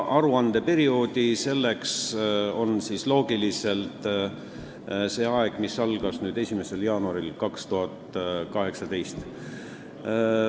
Aruandeperiood algab siis loogiliselt võttes 1. jaanuaril 2018.